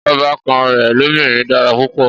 Ọbàkan rẹ̀ lọ́binrin dára púpọ̀